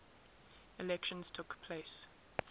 elections took place